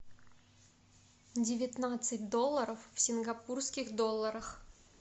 девятнадцать долларов в сингапурских долларах